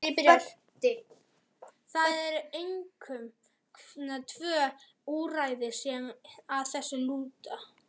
Það eru einkum tvö úrræði sem að þessu lúta.